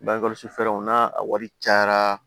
Bangekɔlɔsi fɛɛrɛw n'a wari cayara